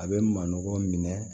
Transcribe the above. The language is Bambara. A bɛ manɔgɔ minɛ